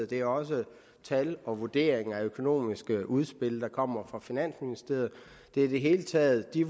det er også tal og vurderinger af økonomiske udspil der kommer fra finansministeriet det er i det hele taget de